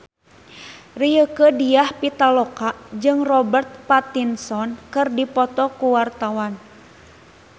Rieke Diah Pitaloka jeung Robert Pattinson keur dipoto ku wartawan